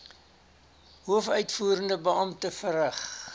hoofuitvoerende beampte verrig